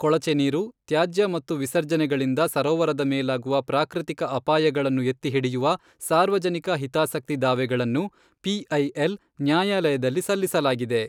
ಕೊಳಚೆ ನೀರು, ತ್ಯಾಜ್ಯ ಮತ್ತು ವಿಸರ್ಜನೆಗಳಿಂದ ಸರೋವರದ ಮೇಲಾಗುವ ಪ್ರಾಕೃತಿಕ ಅಪಾಯಗಳನ್ನು ಎತ್ತಿ ಹಿಡಿಯುವ ಸಾರ್ವಜನಿಕ ಹಿತಾಸಕ್ತಿ ದಾವೆಗಳನ್ನು ಪಿಐಎಲ್ ನ್ಯಾಯಾಲಯದಲ್ಲಿ ಸಲ್ಲಿಸಲಾಗಿದೆ.